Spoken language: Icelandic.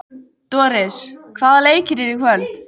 Doris, hvaða leikir eru í kvöld?